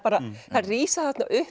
þær rísa þarna upp